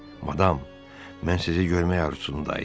Madam, mən sizi görmək arzusunda idim.